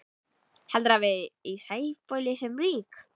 Heldurðu að við í Sæbóli séum rík?